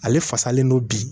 Ale fasalen don bi